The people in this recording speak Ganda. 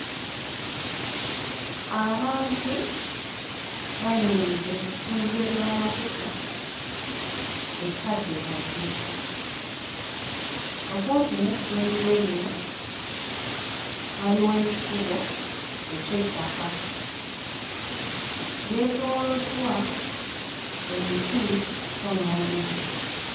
Abantu bayimiridde ku ssundiro ly'amafuta ekkaddekadde. Okumpi n'essundiro lino waliwo ekikubo eky'ettaka. Lyeetooloddwa emiti kko n'omuddo.